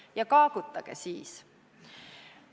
Ja kaagutage siis.